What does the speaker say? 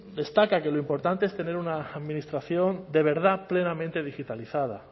destaca que lo importante es tener una administración de verdad plenamente digitalizada